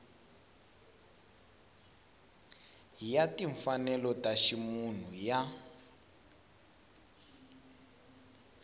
ya timfanelo ta ximunhu ya